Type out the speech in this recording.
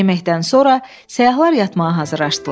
Yeməkdən sonra səyyahlar yatmağa hazırlaşdılar.